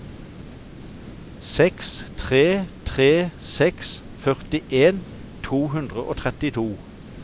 seks tre tre seks førtien to hundre og trettito